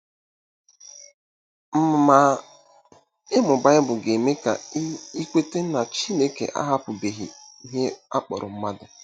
Ma, ịmụ Baịbụl ga-eme ka i i kweta na Chineke ahapụbeghị ihe a kpọrọ mmadụ.